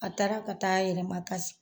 A taara ka taa a yɛrɛ makasi